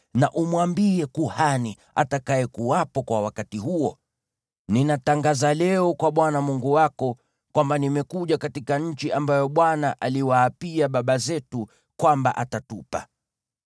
na umwambie kuhani atakayekuwepo kwa wakati huo, “Ninatangaza leo kwa Bwana Mungu wako kwamba nimekuja katika nchi ambayo Bwana aliwaapia baba zetu kwamba atatupa.”